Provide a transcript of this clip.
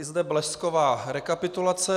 I zde blesková rekapitulace.